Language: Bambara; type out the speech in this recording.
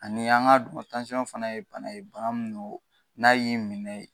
Ani an ka dɔn fana ye bana ye bana min don, n'a y'i minɛ